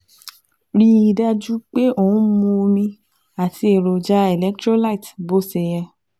Rí i dájú pé ò ń mu omi àti èròjà electrolyte bó ṣe yẹ